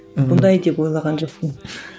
мұндай деп ойлаған жоқпын